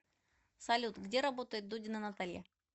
салют где работает дудина наталья